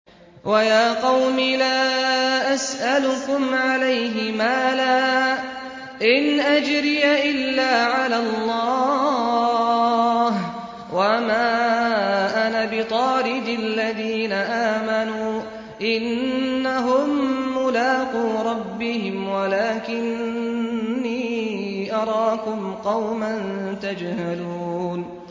وَيَا قَوْمِ لَا أَسْأَلُكُمْ عَلَيْهِ مَالًا ۖ إِنْ أَجْرِيَ إِلَّا عَلَى اللَّهِ ۚ وَمَا أَنَا بِطَارِدِ الَّذِينَ آمَنُوا ۚ إِنَّهُم مُّلَاقُو رَبِّهِمْ وَلَٰكِنِّي أَرَاكُمْ قَوْمًا تَجْهَلُونَ